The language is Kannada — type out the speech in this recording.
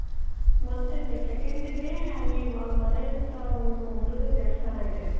ಮತ್ತ next second day ಅಲ್ಲಿ ಅವ್ರ ಮನೆ ಹತ್ರ ಒಂದು ಮುರ್ಘನ್ ದೇವಸ್ಥಾನ ಇದೆ.